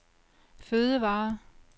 fødevarer